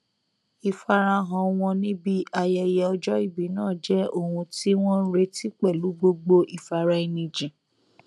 ìfarahàn wọn níbi ayẹyẹ ọjọ ìbí náà jẹ ohun tí wọn n retí pẹlú gbogbo ìfaraẹnijìn